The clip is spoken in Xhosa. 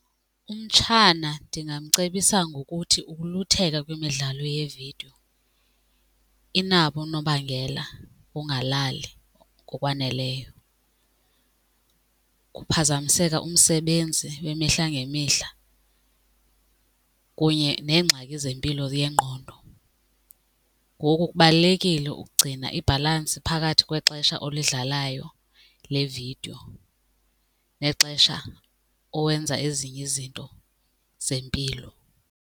Umtshana ndingamcebisa ngokuthi ukulutheka kwimidlalo yevidiyo inabo unobangela wongalali ngokwaneleyo, kuphazamiseka umsebenzi wemihla ngemihla kunye neengxaki zempilo yengqondo. Ngoku kubalulekile ukugcina ibhalansi phakathi kwexesha olidlalayo levidiyo nexesha owenza ezinye izinto zempilo.